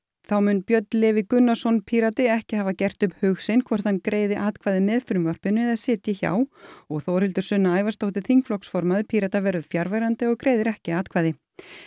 þá mun Björn Leví Gunnarsson Pírati ekki hafa gert upp hug sinn hvort hann greiði atkvæði með frumvarpinu eða sitji hjá og Þórhildur Sunna Ævarsdóttir þingflokkformaður Pírata verður fjarverandi og greiðir ekki atkvæði